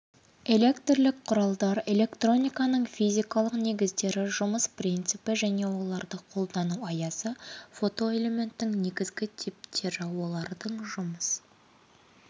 электрлік құралдар электрониканың физикалық негіздері жұмыс принципі және оларды қолдану аясы фотоэлементтерің негізгі типтері олардың жұмыс